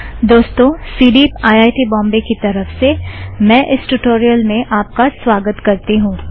दोस्तों CDEEP IIT Bombay की तरफ़ से मैं इस ट्युटोरियल में आप का स्वागत करती हूँ